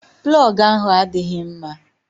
Plọgu ahụ adịghị mma.